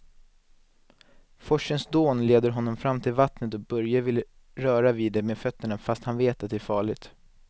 Forsens dån leder honom fram till vattnet och Börje vill röra vid det med fötterna, fast han vet att det är farligt.